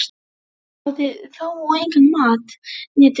Hann hafði þá og engan mat né drykk.